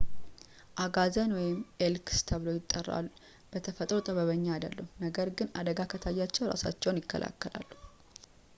አጋዘን ኤልክ ተብሎም ይጠራል በተፈጥሮ ጠበኛ አይደሉም፣ ነገር ግን አደጋ ከታያቸው እራሳቸውን ይከላከላሉ